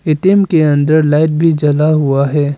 ATM के अंदर light भी जला हुआ है।